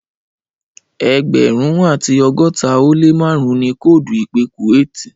Ẹẹgbẹrun ati ọgọta o le márùn ni koodu ipe kuwati.